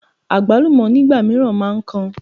Àgbálùmọ́ nígbà mìíràn máa ń kan.